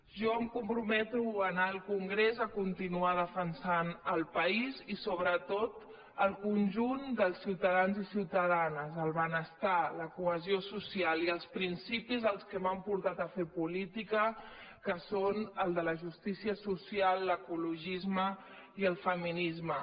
jo em comprometo a anar al congrés a continuar de·fensant el país i sobretot el conjunt dels ciutadans i ciutadanes el benestar la cohesió social i els principis que m’han portat a fer política que són el de la justí·cia social l’ecologisme i el feminisme